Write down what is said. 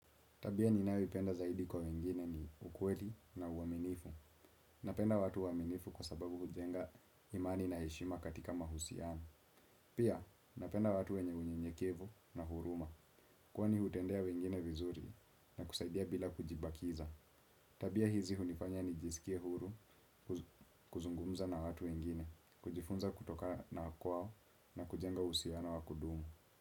Tabia ninayoipenda zaidi kwa wengine ni ukweli na uaminivu. Napenda watu waminifu kwa sababu hujenga imani na heshima katika mahusiano. Pia, napenda watu wenye unyenyekevu na huruma. Kwani hutendea wengine vizuri na kuzaidia bila kujibakisa. Tabia hizi hunifanya nijisikie uhuru kuzungumza na watu wengine. Kujifunza kutokana kwao na kujenga uhusiano wakudumu.